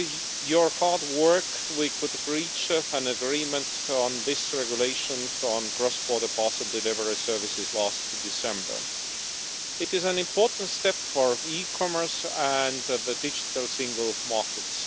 to your hard work, we were able to reach an agreement on this regulation on cross border parcel delivery services last December. It is an important step for eCommerce and the Digital Single Markets.